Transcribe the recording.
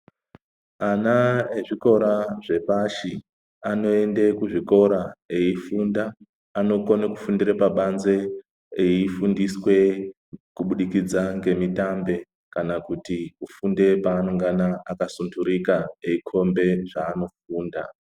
Ana ezvikora zvepashi anoenda kuzvikora eifunda anokona kufundira pabanze eifundiswa kubudikidza ngemitambe kana kuti kufunda panongana akasuturika eikomba zvanofunda.